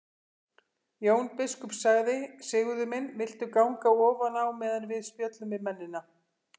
Jón biskup sagði:-Sigurður minn viltu ganga ofan á meðan við spjöllum við mennina.